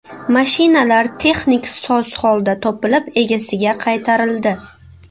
Mashinalar texnik soz holda topilib egasiga qaytarildi.